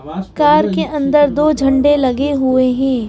Car के अंदर दो झंडे लगे हुए हैं।